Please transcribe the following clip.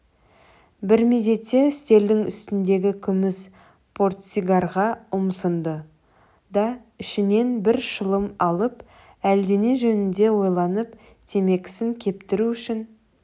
бір мезетте үстелдің үстіндегі күміс портсигарға ұмсынды да ішінен бір шылым алып әлдене жөнінде ойланып темекісін кептіру үшін